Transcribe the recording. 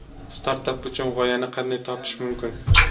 Startap uchun g‘oyani qanday topish mumkin?